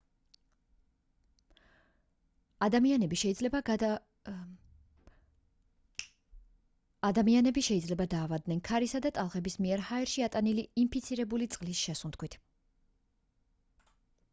ადამიანები შეიძლება დაავადდნენ ქარისა და ტალღების მიერ ჰაერში ატანილი ინფიცირებული წყლის შესუნთქვით